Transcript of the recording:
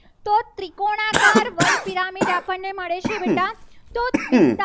કોને મળે છે. બેટા તો